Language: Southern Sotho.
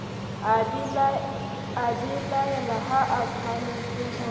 a belaela ha atshwanetse ho